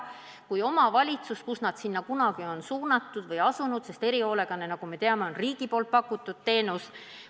Kunagi on omavalitsus ta sinna suunanud ja erihoolekanne, nagu me teame, on riigi poolt pakutud teenus.